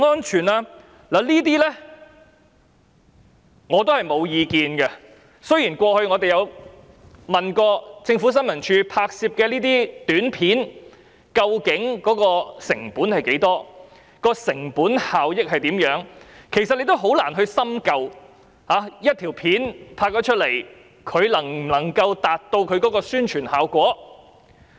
雖然我們過往曾詢問政府新聞處拍攝這些短片的成本是多少及成本效益有多大，但事實上是很難深究一條短片可否真正達到宣傳效果。